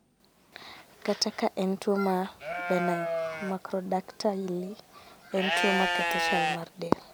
Kata ka en tuo ma benign, macrodactyly en tuo maketho chal mar del